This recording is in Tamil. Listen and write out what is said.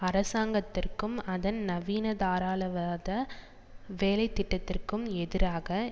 அரசாங்கத்திற்கும் அதன் நவீன தாராளவாத வேலை திட்டத்திற்கும் எதிராக